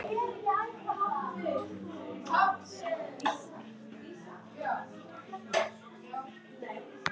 Alltaf varstu tilbúin að hjálpa.